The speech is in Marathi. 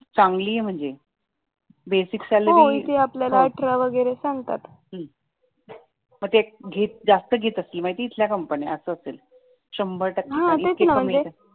चांगली आहे म्हणजे बेसिक मग ते जास्त घेत असतील इथल्या कंपन्या असे असेल शंभर टक्के इतकी कमी सॅलरी